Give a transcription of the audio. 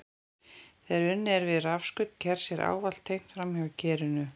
Þegar unnið er við rafskaut kers er ávallt tengt framhjá kerinu.